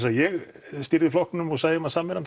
að ég stýrði flokknum og sæi um að sameina hann